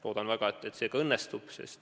Loodan väga, et see õnnestub.